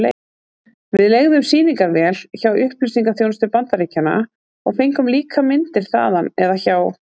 Við leigðum sýningarvél hjá Upplýsingaþjónustu Bandaríkjanna og fengum líka myndir þaðan eða hjá